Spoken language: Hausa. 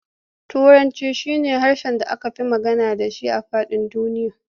Turanci shi na harshen da aka fi magana da shi a faɗin duniya.